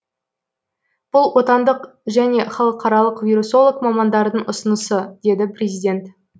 бұл отандық және халықаралық вирусолог мамандардың ұсынысы деді президент